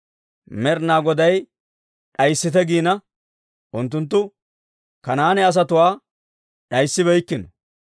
Med'inaa Goday d'ayissite giina, unttunttu Kanaane asatuwaa d'ayissibeykkino.